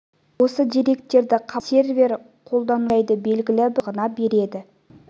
осы деректерді қабылдаса сервер қолданушыға мекен-жайды белгілі бір уақыт аралығына береді